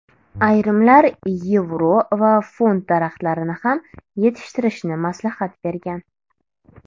Ayrimlar yevro va funt daraxtlarini ham yetishtirishni maslahat bergan.